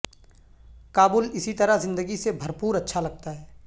کابل اسی طرح زندگی سے بھرپور اچھا لگتا ہے